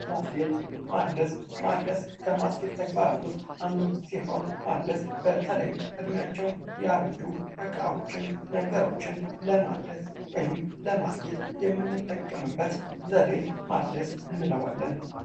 ማስጌጥ ማደስ ፥ማደስ ከማስጌጥ ተግባራት ውስጥ አንዱ ሲሆን ማደስ በተለይም እድሜያቸው ያረጁ እቃዎችን፣ ነገሮችን ለማደስ ወይም ለማስጌጥ የምንጠቀምበት ዘዴ ማደስ እንለዋለን።